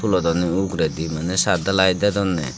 tulodonne uguredi mane saatdhalai dedonne.